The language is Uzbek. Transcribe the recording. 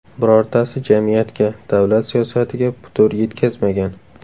Birortasi jamiyatga, davlat siyosatiga putur yetkazmagan.